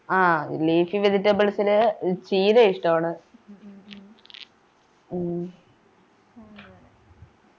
ആഹ് leafy vegetables ലു ചീരയിഷ്ടവാണ് ഉം